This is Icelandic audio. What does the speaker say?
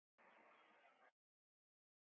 Horfði framhjá mér.